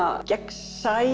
gegnsæ